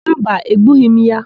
Mba, egbughị m ya.